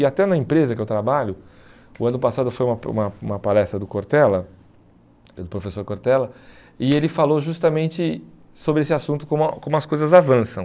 E até na empresa que eu trabalho, o ano passado foi uma uma uma palestra do Cortella, do professor Cortella, e ele falou justamente sobre esse assunto, como a como as coisas avançam.